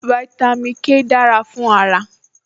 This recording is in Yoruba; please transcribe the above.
Fáítámì K dára fún ara